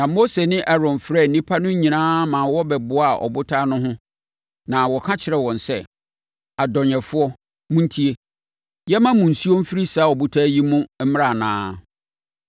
na Mose ne Aaron frɛɛ nnipa no nyinaa ma wɔbɛboaa ɔbotan no ho na wɔka kyerɛɛ wɔn sɛ, “Adɔnyɛfoɔ, montie! Yɛmma nsuo mfiri saa ɔbotan yi mu mmra anaa?”